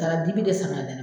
taa dibi de san k'a nɛnɛ